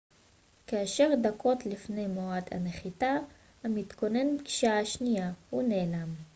כעשר דקות לפני מועד הנחיתה המתוכנן בגישה השנייה הוא נעלם